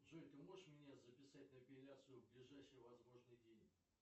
джой ты можешь меня записать на эпиляцию в ближайший возможный день